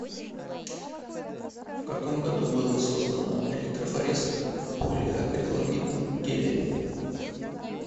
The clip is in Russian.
в каком году было создано электрофорез в полиакриламидном геле